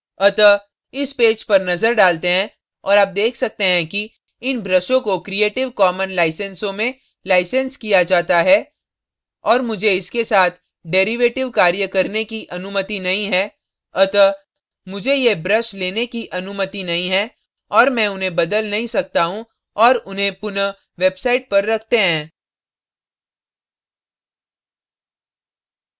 अतः इस पेज पर नजर डालते हैं और आप देख सकते हैं कि इन ब्रशों को creative commons लाइंसेसों में license किया जाता है और मुझे इसके साथ derivative कार्य करने की अनुमति नहीं है अतः मुझे ये ब्रश लेने की अनुमति नहीं है और मैं उन्हें बदल नहीं सकता हूँ और उन्हें पुनः वेबसाईट पर रखते हैं